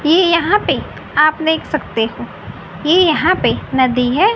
ये यहां पे आप देख सकते हो ये यहां पे नदी हैं।